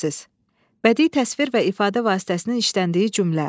Bədii təsvir və ifadə vasitəsinin işləndiyi cümlə.